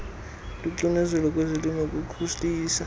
loxinezelelo kwezolimo kukhulisa